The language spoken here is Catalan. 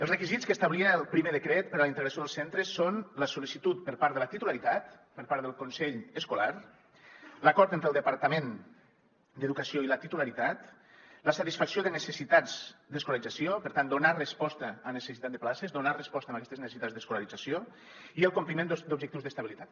els requisits que establia el primer decret per a la integració dels centres són la sol·licitud per part de la titularitat per part del consell escolar l’acord entre el departament d’educació i la titularitat la satisfacció de necessitats d’escolarització per tant donar resposta a necessitat de places donar resposta a aquestes necessitats d’escolarització i el compliment d’objectius d’estabilitat